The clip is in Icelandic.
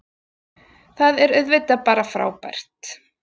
Það er auðvitað bara frábært